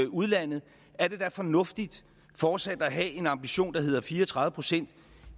udlandet fornuftigt fortsat at have en ambition der hedder fire og tredive procent